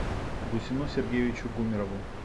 гусену сергеевичу гумерову